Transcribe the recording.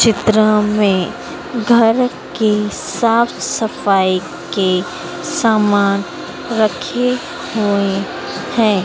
चित्र में घर के साफ सफाई के सामान रखे हुए हैं।